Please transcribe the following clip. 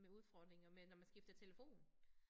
Med udfordringer med når man skifter telefon